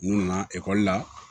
N'u nana ekɔli la